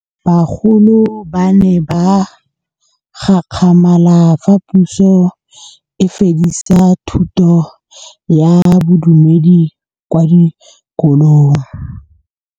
Bagolo ba ne ba gakgamala fa Pusô e fedisa thutô ya Bodumedi kwa dikolong.